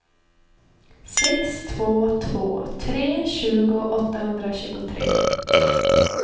sex två två tre tjugo åttahundratjugotre